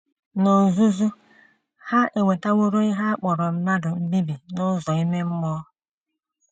N’ozuzu, ha ewetaworo ihe a kpọrọ mmadụ mbibi n’ụzọ ime mmụọ..